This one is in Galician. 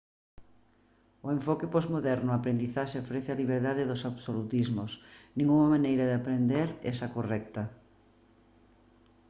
o enfoque posmoderno á aprendizaxe ofrece a liberdade dos absolutismos ningunha maneira de aprender é a correcta